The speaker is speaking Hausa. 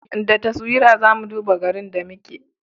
Da taswira za mu duba garin da muke